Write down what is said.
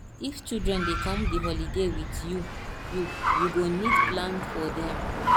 if children dey come di holiday with you you you go need to plan for dem